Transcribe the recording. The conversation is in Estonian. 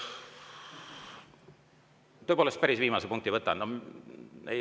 Tõepoolest, päris viimase võtan.